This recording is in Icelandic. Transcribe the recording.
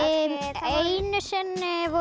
einu sinni voru